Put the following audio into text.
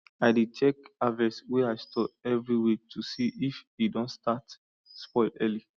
i dey check harvest wey i store every week to see if e don start spoil early